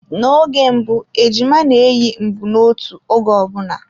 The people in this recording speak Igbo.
Na-oge mbụ ejima na-eyi mbunotu oge ọbụna.